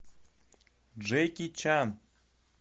джеки чан